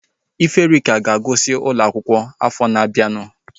Iferika ga-agụsi n'ụlọ akwụkwọ afọ na-abianu